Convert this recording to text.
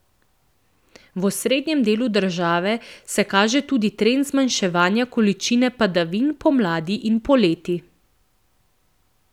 V osrednjem delu države se kaže tudi trend zmanjševanja količine padavin pomladi in poleti.